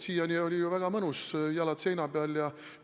Siiani oli ju väga mõnus: lesi, jalad seina peal, ja raha tiksub.